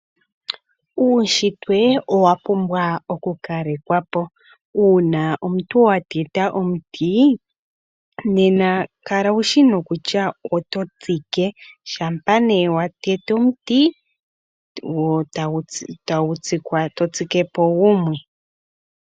Uunshitwe owa pumbwa oku kalekwa po uuna omuntu wa teta omuti, nena kala wushi nokutya oto tsik, shampa nduno wa tete omuti to tsike po gumwe.